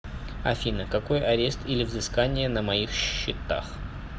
афина какой арест или взыскания на моих счетах